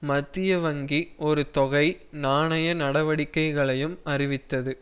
மத்திய வங்கி ஒரு தொகை நாணய நடவடிக்கைகளையும் அறிவித்தது